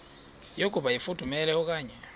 yokuba ifudumele okanye